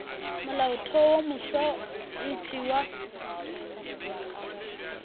molaotheo wo mofsa e tšewa